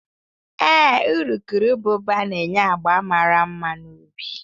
Ee, urukurubụba na-enye agba mara mma na ubi